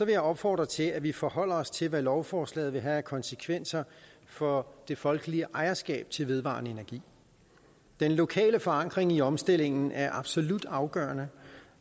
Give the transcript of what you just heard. jeg opfordre til at vi forholder os til hvad lovforslaget vil have af konsekvenser for det folkelige ejerskab til vedvarende energi den lokale forankring i omstillingen er absolut afgørende